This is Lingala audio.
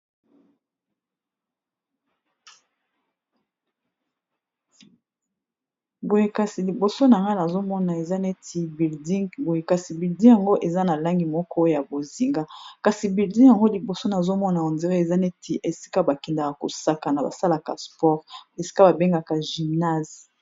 boyekasi liboso na nga na azomona eza neti bilding boyekasi bilding yango eza na langi moko ya bozinga kasi bilding yango liboso nazomona endire eza neti esika bakendaka kosaka na basalaka sport esika babengaka gymnase